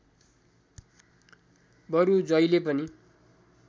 बरु जहिले पनि